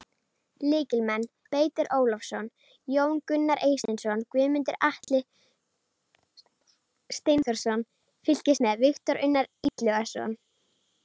Lykilmenn: Beitir Ólafsson, Jón Gunnar Eysteinsson, Guðmundur Atli Steinþórsson: Fylgist með: Viktor Unnar Illugason.